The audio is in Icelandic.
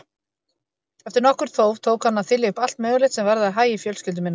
Eftir nokkurt þóf tók hann að þylja upp allt mögulegt sem varðaði hagi fjölskyldu minnar.